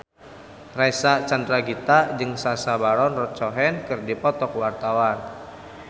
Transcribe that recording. Reysa Chandragitta jeung Sacha Baron Cohen keur dipoto ku wartawan